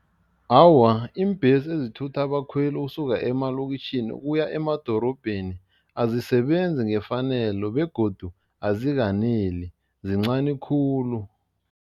Awa, iimbhesi ezithutha abakhweli ukusuka emalokitjhini ukuya emadorobheni azisebenzi ngefanelo begodu azikaneli, zincani khulu.